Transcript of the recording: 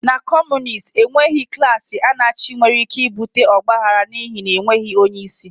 Na Kọmunist enweghị klaasị Anarchy nwere ike ibute ọgba aghara n'ihi na enweghị onye isi